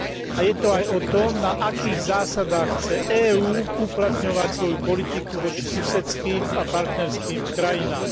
A je to aj o tom, na akých zásadách chce EÚ uplatňovať svoju politiku voči susedským a partnerským krajinám.